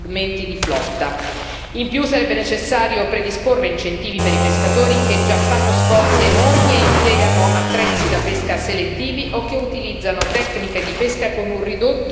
In più, sarebbe necessario predisporre incentivi per i pescatori, che già fanno sforzi enormi e impiegano attrezzi da pesca selettivi o che utilizzano tecniche di pesca con un ridotto impatto ambientale.